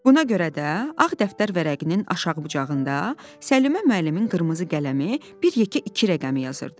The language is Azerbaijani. Buna görə də ağ dəftər vərəqinin aşağı bucağında Səlimə müəllimin qırmızı qələmi bir yekə iki rəqəmi yazırdı.